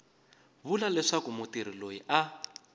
vula leswaku mutirhi loyi a